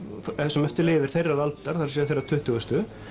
sem eftir lifir þeirrar aldar það er þeirrar tuttugustu